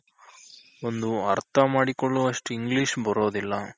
ಒಂದು ಅರ್ಥ ಮಾಡಿಕೊಳ್ಳೋವಷ್ಟ್ English ಬರೋದಿಲ್ಲ.